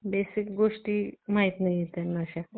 Basic गोष्टी माहित नाहीयेत त्यांना अशा